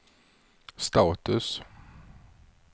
status